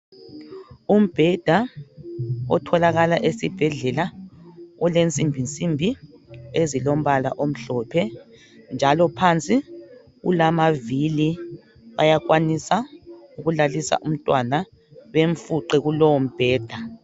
Umbheda otholakala esibhedlela olensimbi nsimbi ezilombala omhlophe njalo phansi ulamavili ayakwanisa ukulalisa umtwana bemfuqe kulowo mbheda